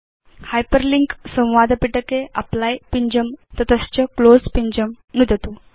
hyperlink संवादपिटके apply पिञ्जं नुदतु तत च क्लोज़ पिञ्जं नुदतु